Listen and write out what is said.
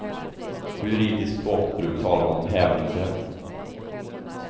På juridiskt språkbruk talar man om hävningsrätt.